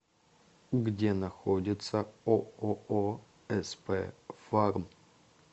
где находится ооо сп фарм